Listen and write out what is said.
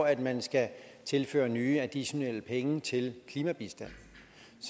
at man skal tilføre nye additionelle penge til klimabistanden